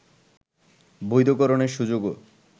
বৈধকরণের সুযোগও